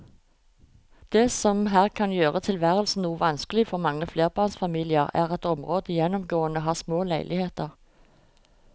Det som her kan gjøre tilværelsen noe vanskelig for mange flerbarnsfamilier er at området gjennomgående har små leiligheter.